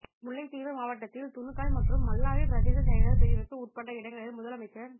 முல்லைத்தீவு மாவட்டத்தில் துணுக்காய் மற்றும் மல்லாவி பிரதேச செயலர் பிரிவுக்கு உட்பட்ட இடங்களில் முதலமைச்சர்